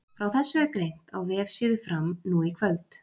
Frá þessu er greint á vefsíðu Fram nú í kvöld.